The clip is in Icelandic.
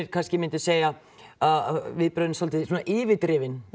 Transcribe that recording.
kannski myndu segja að viðbrögðin séu svolítið svona yfirdrifin